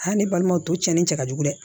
Aa ne balimanw tɔ cɛn ni cɛ ka jugu dɛ